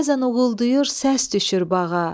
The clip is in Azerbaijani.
Bəzən uğuldayır, səs düşür bağa.